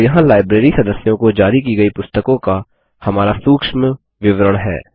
और यहाँ लाइब्रेरी सदस्यों को जारी की गयी पुस्तकों का हमारा सूक्ष्म विवरण है